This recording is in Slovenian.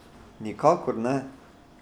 Nikakor ne!